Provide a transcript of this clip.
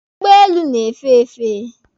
Ụgbọelu na-efe efe.